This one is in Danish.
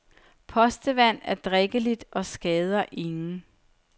Postevand er drikkeligt og skader ingen.